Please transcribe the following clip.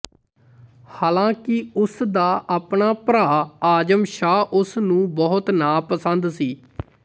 ਹਾਲਾਂਕਿ ਉਸ ਦਾ ਆਪਣਾ ਭਰਾ ਆਜ਼ਮ ਸ਼ਾਹ ਉਸ ਨੂੰ ਬਹੁਤ ਨਾਪਸੰਦ ਸੀ